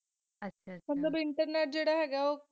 ਆਹ ਆਹ internet ਜੇਰਾ ਹੈਂ ਗਾ ਜੀਰਾ